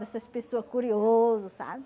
Dessas pessoa curiosa, sabe?